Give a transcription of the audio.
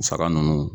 Saga ninnu